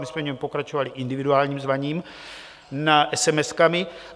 My jsme v něm pokračovali individuálním zvaním esemeskami.